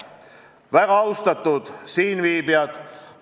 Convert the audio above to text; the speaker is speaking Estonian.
Väga austatud siinviibijad!